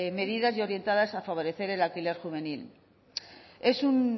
medidas y orientadas a favorecer el alquiler juvenil es un